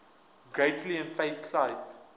greatly inflate type